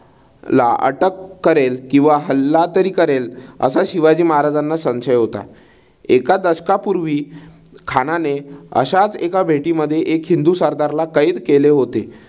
अटक करेल किंवा हल्ला तरी करेल असा शिवाजी महाराजांना संशय होता. एका दशकापूर्वी खानाने अश्याच एका भेटी मध्ये एक हिंदू सरदारला कैद केले होते.